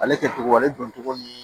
Ale kɛ cogo ale don cogo ni